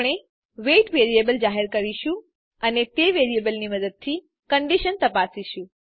આપણે weight variable જાહેર કરીશું અને તે વેરિયેબલની મદદથી કન્ડીશન તપાસીશું